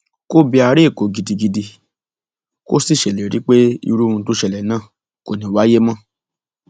kò bẹ ara èkó gidigidi kó sì ṣèlérí pé irú ohun tó ṣẹlẹ náà kò ní í wáyé mọ